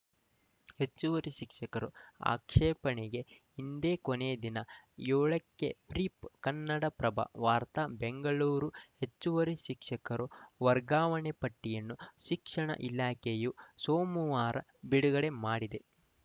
ಹೆಚ್ಚುವರಿ ಶಿಕ್ಷಕರ ಆಕೇಪಣೆಗೆ ಇಂದೇ ಕೊನೇ ದಿನ ಏಳಕ್ಕೆ ಬ್ರೀಫ್‌ ಕನ್ನಡಪ್ರಭ ವಾರ್ತೆ ಬೆಂಗಳೂರು ಹೆಚ್ಚುವರಿ ಶಿಕ್ಷಕರ ವರ್ಗಾವಣೆ ಪಟ್ಟಿಯನ್ನು ಶಿಕ್ಷಣ ಇಲಾಖೆಯು ಸೋಮವಾರ ಬಿಡುಗಡೆ ಮಾಡಿದೆ